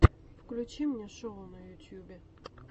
включи мне шоу на ютюбе